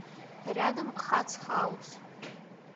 рядом хац хаус